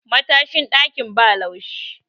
matashin dakin ba laushi